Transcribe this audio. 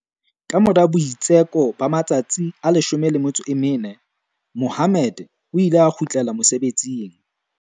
Kamora boitsheko ba ma-tsatsi a 14, Mohammed o ile a kgutlela mosebetsing.